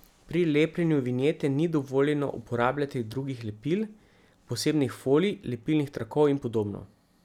Pri lepljenju vinjete ni dovoljeno uporabljati drugih lepil, posebnih folij, lepilnih trakov in podobno.